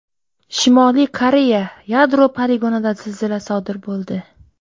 Shimoliy Koreya yadro poligonida zilzila sodir bo‘ldi.